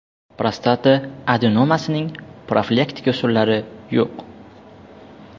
Prostata adenomasining profilaktika usullari yo‘q.